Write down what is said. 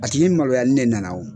Paseke ni maloya ni ne nana o.